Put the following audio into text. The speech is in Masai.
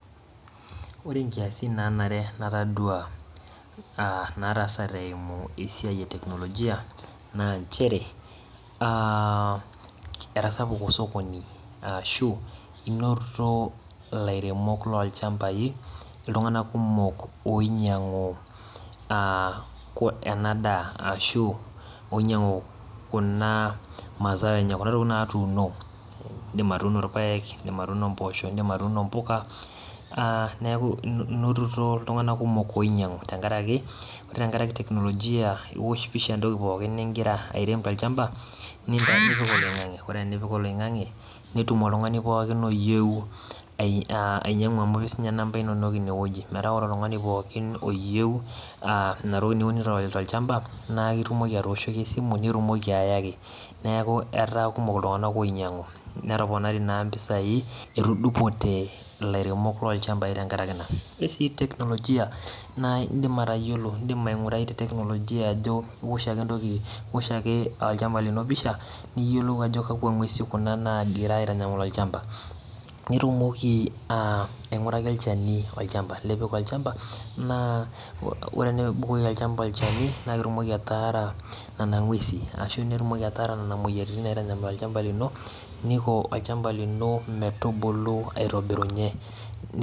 Ore inkiasin naanare natadua aaa naatasate eimu esiai e technologia aa enchre etasapuku esiai olchambai ashuu enoto sokoni ilainyiang'ak oinyiang'u ena daa ashu oinyiang'u kuna masaaa enye ashuu kuna tokitin naatuuno indiim atuuno irpaek indiim atuuno impuka aa neeku intururo iltung'anak kumok oinyiang'u ore tenkaraki technologia iwosh pisha entoki pookin ningira airem tolchamba nipik oloing'ange ore peipik oloing'ange netum oltung'ani pookin ooyieu amu ketii siininye inamba inonok ine wueji neeku ore oltung'ani pookin ooyieu nena tokitin niunito tolchamba neeku etaa kumok iltung'anak oinyiang'u etoponari naa impisai etudupote ilairemok loonchambai tenkaraki ina ore sii technologia indiip atodua ajo iwosh ale olchamba lino empisha nitumoki atodua ajo kakwa ngu'esin kuna naagira aiyial olchamba naa ore tenibukoki olchamba olchani neiko olchamba lino metumoki aitobirunyie.